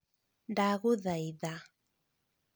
ndagūthaitha